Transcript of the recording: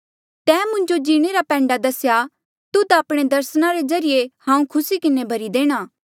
तैं मुंजो जीणे रा पैंडा दसेया तुध आपणे दर्सना रे ज्रीए हांऊँ खुसी किन्हें भरी देणा